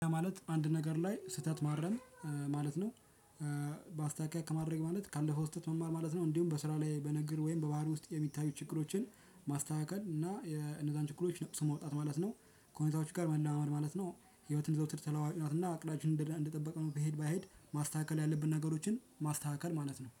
ማለት አንድ ነገር ላይ ስህተት ማረም ማለት ነው። በአስተካክየ ከማድረግ ማለት ካለፈው ስህተት መማር ማለት ነው። እንዲሁም በስራ ላይ በንግግር ወይም በባህር ውስጥ የሚታዩ ችግሮችን ማስተካከል እና የነዛን ችግሮች ነቅሶ መውጣት ማለት ነው። ከሁኔታዎች ጋር መለማመድ ማለት ነው። ህይወትን ዘውትር ተለዋዋጭ ናት እና እቅደችን እንደጠበቅነው ብሄድ ባይሄድ ማስተካከል ያለብን ነገሮችን ማስተካከል ማለት ነው